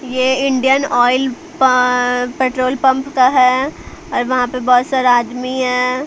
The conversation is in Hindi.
यह इंडियन ऑयल पेट्रोल पंप का है और वहां पे बहुत सारा आदमी हैं।